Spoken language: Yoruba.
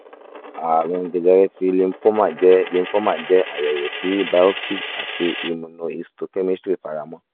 aàrùn jẹjẹrẹ ti lymphoma je lymphoma je àyẹ̀wò tí biopsy àti immunohistochemistry faramọ́